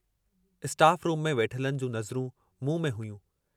Staff room में वेठलनि जूं नज़रूं मूं में हुयूं।